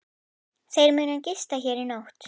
Þeir munu gista hér í nótt.